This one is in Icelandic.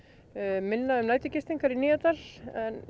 minna um í Nýjadal en